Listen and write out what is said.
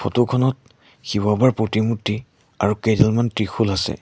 Photo খনত শিৱ বাবাৰ প্ৰতিমূৰ্তি আৰু কেইডালমান ত্ৰিশূল আছে।